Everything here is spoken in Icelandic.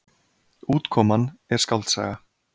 Útkoman er skáldsaga.